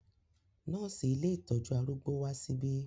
Nọ́ọ̀sì ilé ìtọ́jú arúgbó wá síbí.